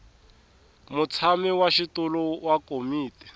mutshami wa xitulu wa komiti